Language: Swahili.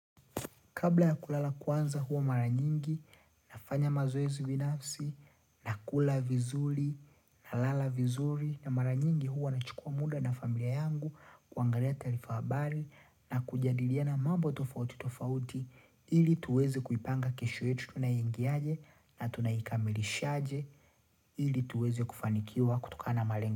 Kabla ya kulala kwanza huwa mara nyingi, nafanya mazoezi binafsi, na kula vizuri, na lala vizuri, na mara nyingi huwa na chukua muda na familia yangu kuangalia taarifa habari na kujadiliana mambo tofauti tofauti ili tuweze kuipanga kesho yetu tunaingiaje na tunaikamilishaje ili tuweze kufanikiwa kutokana malengo.